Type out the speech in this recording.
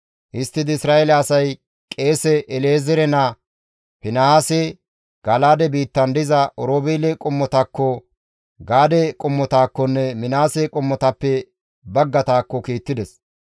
Histtidi Isra7eele asay qeese El7ezeere naa Finihaase, Gala7aade biittan diza Oroobeele qommotakko, Gaade qommotakkonne Minaase qommotappe baggataakko kiittides.